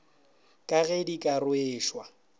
ka ge di ka rweša